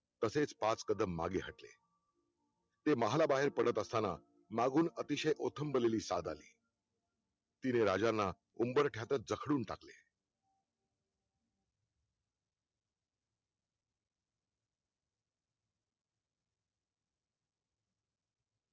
तसेच पाच कदम मागे हटले ते महाला बाहेर पडत असताना मागून अतिशय ओठंम्बलेली साद आली तिने राजांना उंबरठ्यातच जकडून टाकले